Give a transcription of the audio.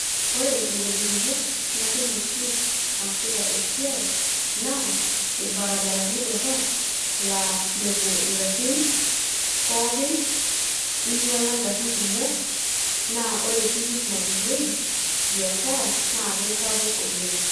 Ore ingolikinot natum oshi aasita esiai naa irbarabarani torok laa mepuo ngarin pookin ,ninyiala ngarin kumok naa ore tikit napuoyieki biashara naa keisapuk oleng.